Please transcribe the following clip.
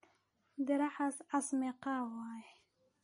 Diracas cas meqaa waye?